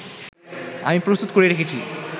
আমি প্রস্তুত করে রেখেছি